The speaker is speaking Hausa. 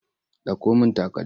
Ɗauko min takalmi!